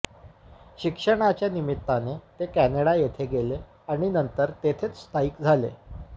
शिक्षणाच्या निमित्ताने ते कॅनडा येथे गेले आणि नंतर तेथेच स्थायिक झाले